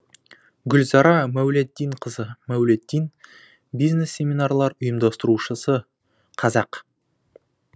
гүлзара мәулетдинқызы мәулетдин бизнес семинарлар ұйымдастырушысы қазақ